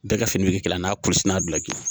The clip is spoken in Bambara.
Bɛɛ ka fini bɛ kɛ kelen ye n'a kulusi n'a bilaji